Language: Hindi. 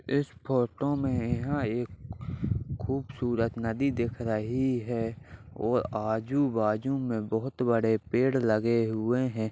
इस फोटो में यहाँ एक खूबसूरत नदी देख रही है और आजू-बाजू में बहुत बड़े पेड़ लगे हुए हैं।